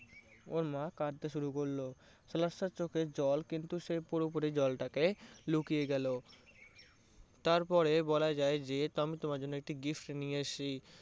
ওর মা কাঁদতে শুরু করলো। সাহেব চোখে জল কিন্তু সে পুরোপুরি জলটাকে লুকিয়ে গেলো। তারপরে বলা যায় যে আমি তোমার জন্য একটি gift নিয়ে এসেছি।